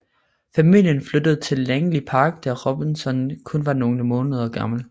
Familien flyttede til Langley Park da Robson kun var nogle måneder gammel